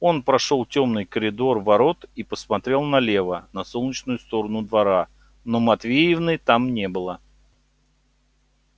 он прошёл тёмный коридор ворот и посмотрел налево на солнечную сторону двора но матвеевны там не было